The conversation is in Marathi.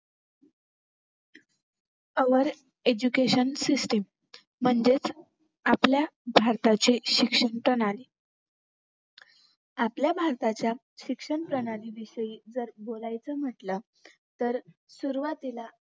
our education system म्हणजेच आपल्या भारताचे शिक्षणप्रणाली आपल्या भारताचे शिक्षणप्रणालीविषयी जर बोलायच म्हटलं तर सुरवातीला